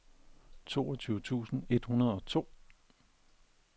toogfyrre tusind et hundrede og to